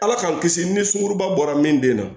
Ala k'an kisi ni sunkuruba bɔra min bɛ na